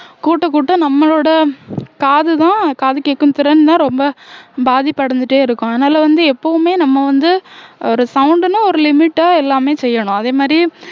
கூட்ட கூட்ட நம்மளோட காதுதான் காது கேக்கும் திறன்தான் ரொம்ப பாதிப்படைஞ்சுட்டே இருக்கும் அதனால வந்து எப்பவுமே நம்ம வந்து ஒரு sound னா ஒரு limit ஆ எல்லாமே செய்யணும் அதே மாதிரி